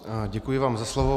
Děkuji vám za slovo.